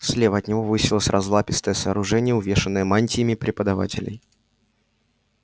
слева от него высилось разлапистое сооружение увешанное мантиями преподавателей